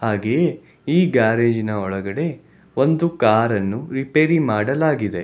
ಹಾಗೆಯೇ ಈ ಗ್ಯಾರೇಜಿನ ಒಳಗಡೆ ಒಂದು ಕಾರ್ ಅನ್ನು ರಿಪೇರಿ ಮಾಡಲಾಗಿದೆ.